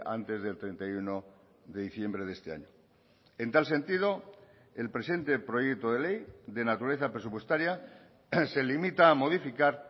antes del treinta y uno de diciembre de este año en tal sentido el presente proyecto de ley de naturaleza presupuestaria se limita a modificar